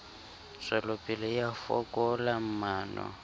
tswelopele e a fokola maano